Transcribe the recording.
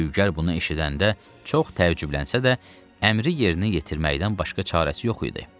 Dülgər bunu eşidəndə çox təəccüblənsə də, əmri yerinə yetirməkdən başqa çarəsi yox idi.